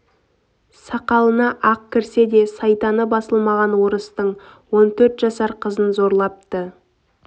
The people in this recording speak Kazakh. сақалына ақ кірсе де сайтаны басылмаған орыстың он төрт жасар қызын зорлапты